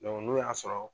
n'o y'a sɔrɔ